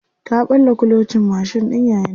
Ta ɓalla kulocin mashin ɗin yayanta.